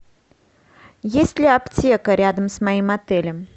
есть ли аптека рядом с моим отелем